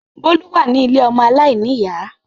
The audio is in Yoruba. Bólú wà ní ilé ọmọ aláìníyà